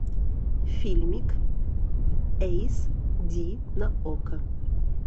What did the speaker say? фильмик эйс ди на окко